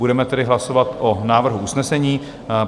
Budeme tedy hlasovat o návrhu usnesení.